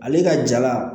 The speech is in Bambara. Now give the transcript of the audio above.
Ale ka jala